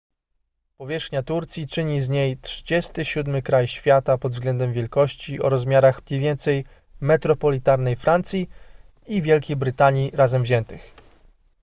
powierzchnia turcji czyni z niej 37 kraj świata pod względem wielkości o rozmiarach mniej więcej metropolitarnej francji i wielkiej brytanii razem wziętych